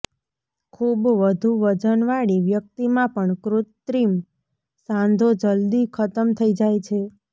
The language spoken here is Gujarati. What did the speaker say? ખૂબ વધુ વજન વાળી વ્યક્તિમાં પણ કૃત્રિમ સાંધો જલદી ખતમ થઇ જાય છે